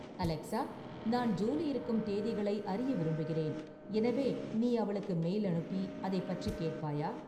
Alexa நான் Julie இருக்கும் தேதிகளை அறிய விரும்புகிறேன், எனவே நீ அவளுக்கு மெயில் அனுப்பி அதைப் பற்றிக் கேட்பாயா?